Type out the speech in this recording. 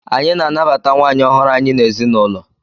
Anyị na-anabata nwaanyị ọhụrụ anyị n'ezinụlọ.